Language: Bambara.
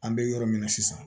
An bɛ yɔrɔ min na sisan